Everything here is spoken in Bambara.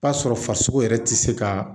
B'a sɔrɔ farisogo yɛrɛ tɛ se ka